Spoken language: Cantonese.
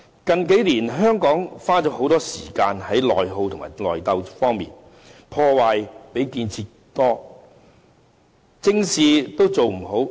近年來，香港花了很多時間在內耗和內鬥上，破壞較建設多，正事做不好。